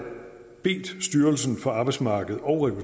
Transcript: bedt styrelsen for arbejdsmarked og